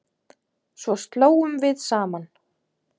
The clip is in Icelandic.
Svo hlógum við saman.